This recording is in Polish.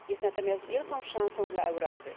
Jest natomiast wielką szansą dla Europy.